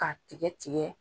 K'a tigɛ tigɛ.